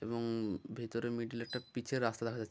এবং- ভিতরে মিডিল -এ একটা পিচ -এর রাস্তা দেখা যাচ্ছে--